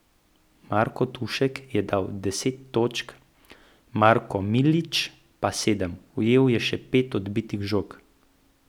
Marko Tušek je dal deset točk, Marko Milić pa sedem, ujel je še pet odbitih žog.